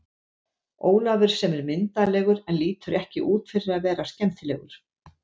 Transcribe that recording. Ólafur sem er myndarlegur en lítur ekki út fyrir að vera skemmtilegur.